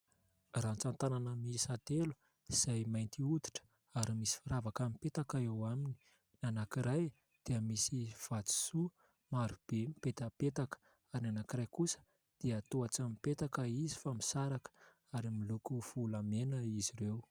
Ratsan-tanana miisa telo izay mainty hoditra ary misy firavaka mipetaka eo aminy . Ny anankiray dia misy vatosoa marobe mipetapetaka ary anankiray kosa dia toa tsy mipetaka izy fa misaraka ary miloko volamena izy ireo .